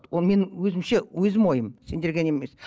ол менің өзімше өзім ойым сендерге не емес